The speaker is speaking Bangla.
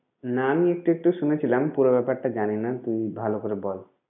না আমি একটু একটু শুনেছিলাম পুরো ব্যাপারটা জানি না তুই ভালো করে বল।